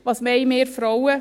Was wollen wir Frauen?